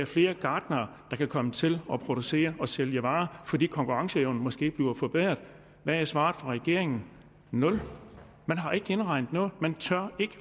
flere gartnere der kan komme til at producere og sælge varer fordi konkurrenceevnen måske bliver forbedret hvad er svaret fra regeringen nul man har ikke indregnet noget man tør ikke